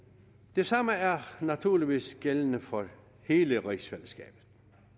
det samme er naturligvis gældende for hele rigsfællesskabet